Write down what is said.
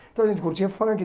Então a gente curtia funk.